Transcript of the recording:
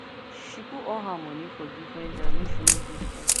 she put all her moeny for different jar make she no too spend